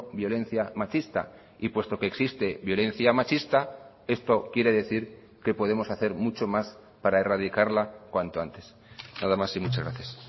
violencia machista y puesto que existe violencia machista esto quiere decir que podemos hacer mucho más para erradicarla cuanto antes nada más y muchas gracias